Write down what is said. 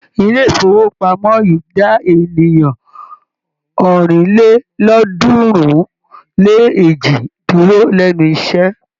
Ilé-ìfowópamọ́ yìí dá ènìyàn ọ̀rìnlélọ́ọ̀ọ́dúnrún-lé-èjì dúró lẹ́nu iṣẹ́.